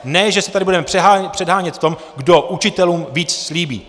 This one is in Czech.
Ne že se tady budeme předhánět v tom, kdo učitelům víc slíbí.